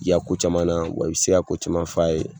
I y'a ko caman na wa i bɛ se ko caman f'a ye